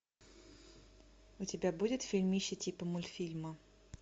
у тебя будет фильмище типа мультфильма